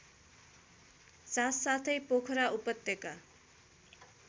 साथसाथै पोखरा उपत्यका